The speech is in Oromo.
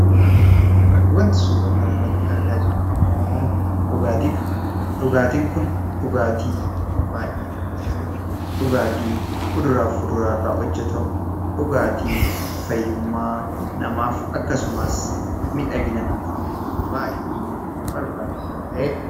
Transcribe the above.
Wanti suuraa kanarratti argaa jirru immoo dhugaatiidha. Dhugaatiin kun dhugaatii baay'ee namatti tolu, dhugaatii kuduraa fi fuduraarraa hojjatamu, dhugaatii fayyummaa namaatiif akkasumas miidhagina namaatiif baay'ee barbaachisaa ta'edha.